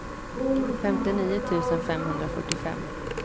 femtionio tusen femhundrafyrtiofem